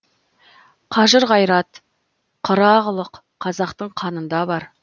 қажыр қайрат қырағылық қазақтың қанында бар